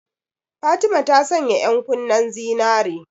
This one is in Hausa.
Fatima ta sanya ƴankunnen zinare.